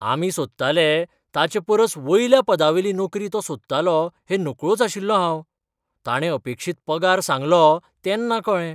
आमी सोदताले ताचेपरस वयल्या पदावेली नोकरी तो सोदतालो हें नकळोंच आशिल्लों हांव. ताणे अपेक्षीत पगार सांगलो तेन्ना कळ्ळें.